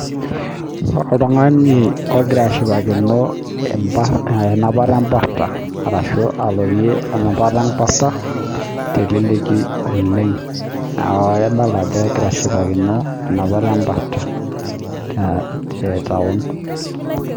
Oltung'ani ogira ashipakino enapiata ebarta ashu alotie enapiata ebarta teleleki oleng neeku adolita Ajo egira ashipakino enapata ebarta tee town